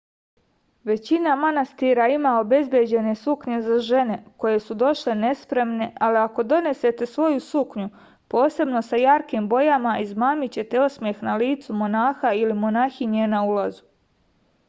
većina manastira ima obezbeđene suknje za žene koje su došle nespremne ali ako donesete svoju suknju posebno sa jarkim bojama izmamićete osmeh na licu monaha ili monahinje na ulazu